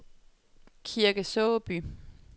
Kirke Såby